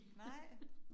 Nej